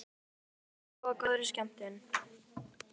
Hann hélt á pennaveskinu í hendinni og áður en